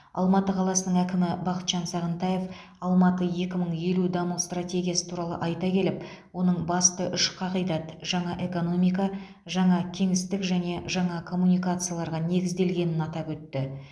алматы қаласының әкімі бақытжан сағынтаев алматы екі мың елу даму стратегиясы туралы айта келіп оның басты үш қағидат жаңа экономика жаңа кеңістік және жаңа коммуникацияларға негізделгенін атап өтті